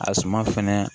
A suma fɛnɛ